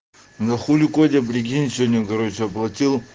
ну хули котя прикинь сегодня короче оплатил